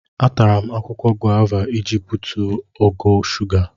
Atara m akwụkwọ gova iji butuo ogo shuga.